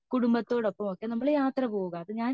കുടുംബത്തോടൊപ്പമോ ഒക്കെ നമ്മൾ യാത്ര പോവാ